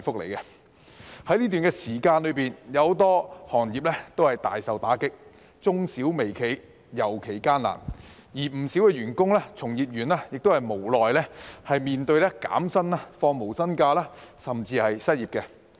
在這段時間，許多行業皆大受打擊，中小微企業尤其艱難，而不少員工、從業員亦無奈面對減薪、放無薪假，甚至失業。